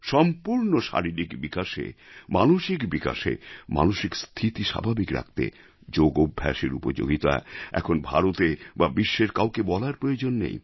সম্পূর্ণ শারীরিক বিকাশে মানসিক বিকাশে মানসিক স্থিতি স্বাভাবিক রাখতে যোগ অভ্যাসের উপযোগিতা এখন ভারতে বা বিশ্বের কাউকে বলার প্রয়োজন নেই